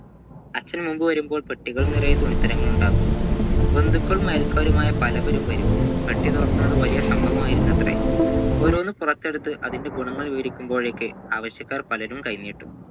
അച്ഛൻ മുബ് വരുമ്പോൾ പെട്ടികൾ നിറയേ തുണിതരങ്ങളുണ്ടാവും ബന്ധിക്കളും അയൽക്കാരുമായ പലവരും വരും പെട്ടിതുറക്കുന്നത് വലിയ സംഭവമായിരുന്നുവത്രെ ഓരോന്ന് പുറത്തെടുത്ത് അതിൻ്റെ ഗുണങ്ങൾ വിവരിക്കുമ്പോഴേക്ക് ആവശ്യക്കാർ പലരും കൈ നീട്ടും